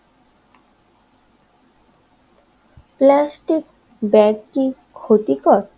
Plastic bag কি ক্ষতিকর?